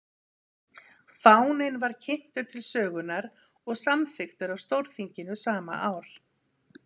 fáninn var kynntur til sögunnar og samþykktur af stórþinginu sama ár